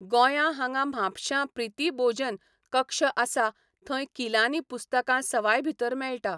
गोंयां हांगा म्हापश्यां प्रिती बोजन कक्ष आसा थंय किलांनी पुस्तकां सवाय भितर मेळटा.